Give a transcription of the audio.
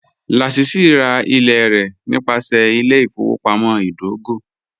Lásísí rá ilẹ̀ rẹ nípasẹ̀ ilẹ̀-ìfọwọpamọ̀ idògò